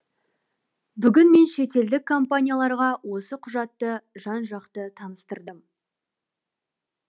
бүгін мен шетелдік компанияларға осы құжатты жан жақты таныстырдым